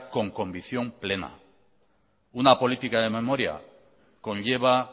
con convicción plena una política de memoria conlleva